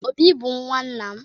Obi bu nwanna m.